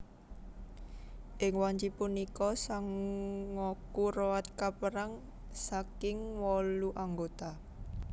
Ing wanci punika Sangoku Road kaperang saking wolu anggota